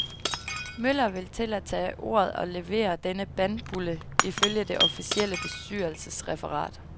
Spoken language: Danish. Møller vil til at tage ordet og levere denne bandbulle ifølge det officielle bestyrelsesreferat.